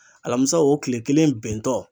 Alamisa o kile kelen bɛntɔ